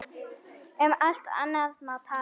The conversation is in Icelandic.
Um allt annað má tala.